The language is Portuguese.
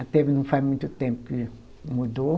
Até não faz muito tempo que mudou.